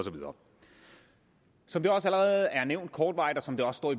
som det også allerede er nævnt kortvarigt og som der også står